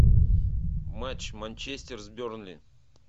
матч манчестер с бернли